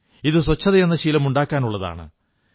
ഇത് ശുചിത്വമെന്ന ശീലമുണ്ടാക്കാനുള്ളതാണ്